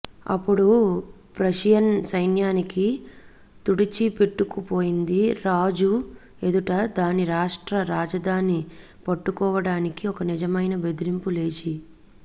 అప్పుడు ప్రషియన్ సైన్యానికి తుడిచిపెట్టుకుపోయింది రాజు ఎదుట దాని రాష్ట్ర రాజధాని పట్టుకోవటానికి ఒక నిజమైన బెదిరింపు లేచి